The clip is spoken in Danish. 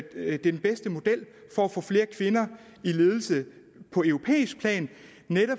er den bedste model for at få flere kvinder i ledelse på europæisk plan